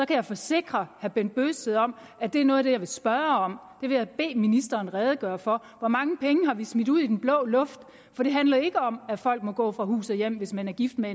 kan jeg forsikre herre bent bøgsted om at det er noget af det jeg vil spørge om det vil jeg bede ministeren redegøre for hvor mange penge har vi smidt ud i den blå luft for det handler ikke om at folk må gå fra hus og hjem hvis man er gift med